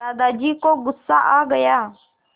दादाजी को गुस्सा आ गया